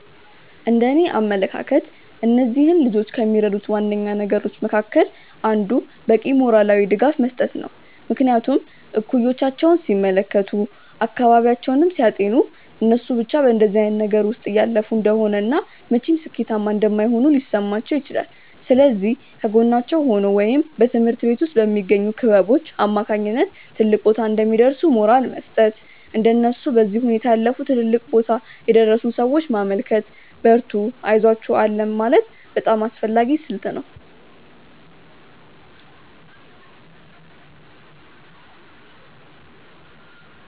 እንደእኔ አመለካከት እነዚህን ልጆች ከሚረዱት ዋነኛ ነገሮች መካከል አንዱ በቂ ሞራላዊ ድጋፍ መስጠት ነው። ምክንያቱም እኩዮቻቸውን ሲመለከቱ፤ አካባቢያቸውን ሲያጤኑ እነሱ ብቻ በእንደዚህ አይነት ነገር ውስጥ እያለፉ እንደሆነ እና መቼም ሥኬታማ እንደማይሆኑ ሊሰማቸው ይችላል። ስለዚህ ከጎናቸው ሆኖ ወይም በትምሀርት ቤት ውስጥ በሚገኙ ክበቦች አማካኝነት ትልቅ ቦታ እንደሚደርሱ ሞራል መስጠት፤ እንደነሱ በዚህ ሁኔታ ያለፉ ትልልቅ ቦታ የደረሱን ሰዎች ማመልከት፤ በርቱ አይዞአችሁ አለን ማለት በጣም አስፈላጊ ስልት ነው።